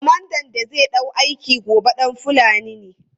Komandan da zai ɗau aiki gobe ɗan Fulani ne.